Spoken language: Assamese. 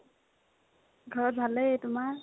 ঘৰত ভালেই, তোমাৰ?